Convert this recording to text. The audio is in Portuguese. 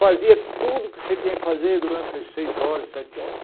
Fazia tudo o que você tinha que fazer durante as seis horas, sete horas.